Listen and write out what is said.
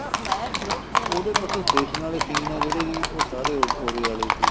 ਉਹਦੇ bus station ਵਲੇ scene ਏ ਜਿਹੜੇ ਕੀ ਉਹ ਸਾਰੇ ਉਹਦੇ ਵਾਲੇ ਸੀ